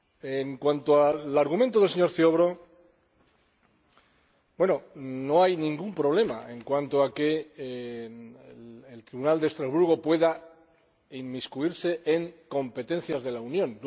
En cuanto al argumento del señor Ziobro, no hay ningún problema en cuanto a que el Tribunal de Estrasburgo pueda inmiscuirse en competencias de la Unión.